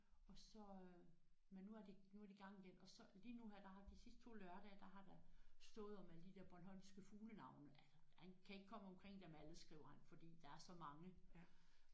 Og så øh men nu er de nu er de i gang igen og så lige nu her der har de sidste 2 lørdage der har der stået om alle de der bornholmske fuglenavne altså han kan ikke komme omkring dem alle skriver han fordi der er så mange